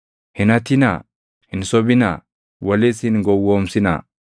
“ ‘Hin hatinaa. “ ‘Hin sobinaa. “ ‘Walis hin gowwoomsinaa.